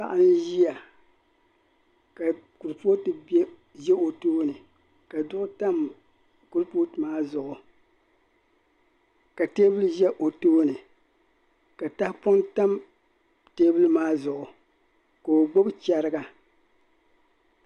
paɣa n ʒiya ka kurupoti za o tooni ka zuɣu tam kurupooti maa zuɣu ka teebuli ʒɛ o tooni ka tahapɔŋ tam teebuli maa zuɣu ka o gbibi cheriga